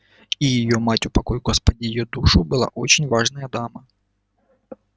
и её мать упокой господи её душу была очень важная дама